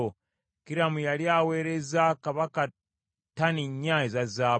Kiramu yali aweerezza kabaka ttani nnya eza zaabu.